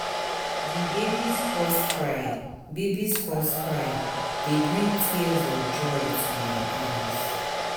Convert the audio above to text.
Di baby's first cry baby's first cry dey bring tears of joy to my eyes.